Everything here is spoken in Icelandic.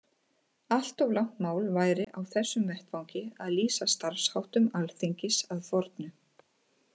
Allt of langt mál væri á þessum vettvangi að lýsa starfsháttum Alþingis að fornu.